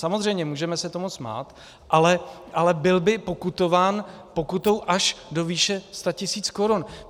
Samozřejmě, můžeme se tomu smát, ale byl by pokutován pokutou až do výše 100 tisíc korun.